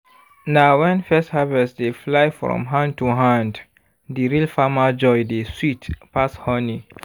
na when first harvest dey fly from hand to hand di real farmer joy dey sweet pass honey.